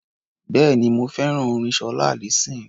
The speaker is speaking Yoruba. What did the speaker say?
Bẹ́ẹ̀ni, mo fẹ́ràn orin Ṣọlá Allyson.